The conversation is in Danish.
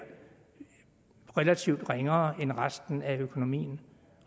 relativt ringere end resten af økonomien